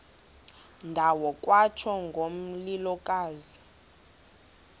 ndawo kwatsho ngomlilokazi